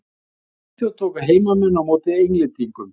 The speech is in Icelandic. Í Svíþjóð tóku heimamenn á móti Englendingum.